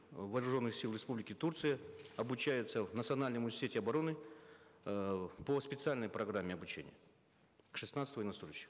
вооруженных сил республики турция обучаются в национальном университете обороны э по специальной программе обучения шестнадцать военнослужащих